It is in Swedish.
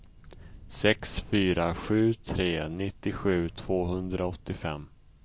sex fyra sju tre nittiosju tvåhundraåttiofem